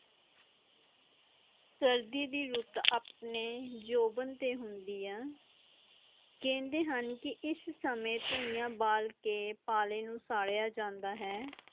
ਸਰਦੀ ਦੀ ਰੁੱਤ ਆਪਣੇ ਜੋਵਾਂ ਤੇ ਹੁੰਦੀ ਹੈ ਕੇਂਦੇ ਹਨ ਇਸ ਵਸਮੇਂ ਟੂਣਿਆਂ ਬਾਲ ਕੇ ਪਾਲਿਆ ਨੂੰ ਸਾਡੀਆਂ ਜਾਂਦਾ ਹੈ